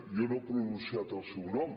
jo no he pronunciat el seu nom